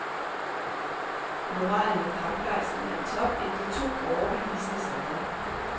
Moralen og kampgejsten er i top efter to overbevisende sejre.